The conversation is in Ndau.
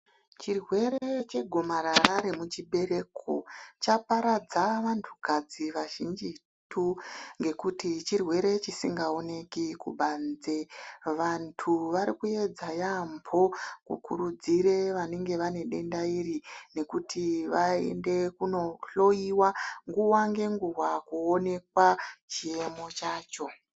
Chirwere chegomarara remuchibereko chaparadza vanhukadzi vazhinjitu. Ngokuti chirwere chingaoneki kubanze. Vantu vari kuedza yaamho kukurudzira vanenge vane denda iri nekuti vaende kundohloiwa nguwa nenguwa kuonekwa chiemo chacho.